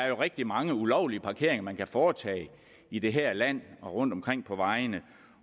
er rigtig mange ulovlige parkeringer man kan foretage i det her land og rundtomkring på vejene